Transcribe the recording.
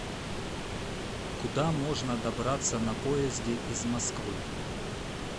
куда можно добраться на поезде из москвы